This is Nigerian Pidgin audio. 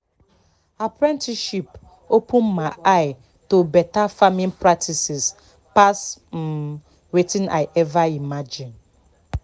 apprenticeship open my eye to better farming practices pass um wetin i ever imagine